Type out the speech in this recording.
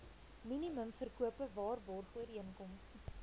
minimum verkope waarborgooreenkoms